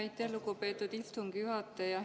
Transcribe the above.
Aitäh, lugupeetud istungi juhataja!